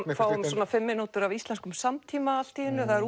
við fáum kannski fimm mínútur úr íslenskum samtíma allt í einu það er